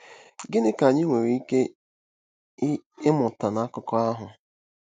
Gịnị ka anyị nwere ike ịmụta n'akụkọ ahụ?